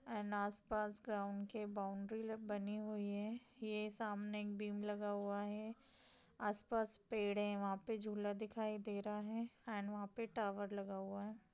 आस पास ग्राउंड के बाउंड्री में बनी हुई है यह सामने एक बीम लगा हुआ है आसपास पेड़ है वहां पर झूला दिखाई दे रहा है और वहां पर टावर लगा हुआ है ।